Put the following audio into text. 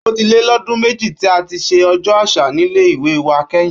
Ó ti lé lọdún méjì tí a ti ṣe Ọjọ́ Àṣà nílé ìwé wa kẹ́yìn